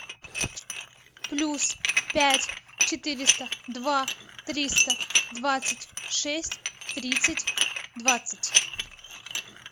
плюс пять четыреста два триста двадцать шесть тридцать двадцать